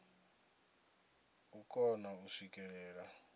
na u kona u swikelela